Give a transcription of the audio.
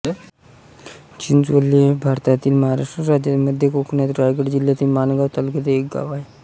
चिंचवली हे भारतातील महाराष्ट्र राज्यातील मध्य कोकणातील रायगड जिल्ह्यातील माणगाव तालुक्यातील एक गाव आहे